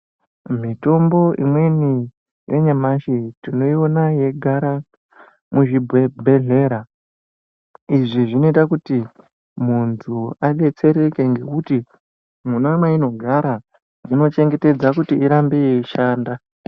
Mitombo imweni yanyamashi tinoiona yeigara muzvibhedhlera, izvi zvinoita kuti muntu adetsereke ngekuti mwona mweinogara zvinochengetedza kuti irambe yeishanda.